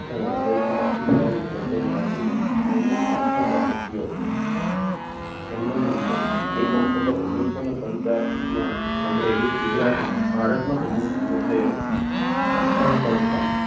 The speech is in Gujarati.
અમ સૌથી શક્તિશાળી લોકોની યાદીમાં નવમો આ મો ક્રમ આપ્યો હતો જન્મની વિગત એક ઓક્ટોબર ઓગણીસસોને પંચાવનમાં અમરેલી ગુજરાતમાં ભારતમાં તેમનો જન્મ થયો હતો શિક્ષણ સંસ્થા